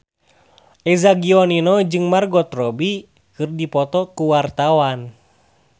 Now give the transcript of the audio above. Eza Gionino jeung Margot Robbie keur dipoto ku wartawan